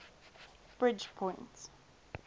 bridgepoint